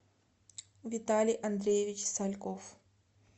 виталий андреевич сальков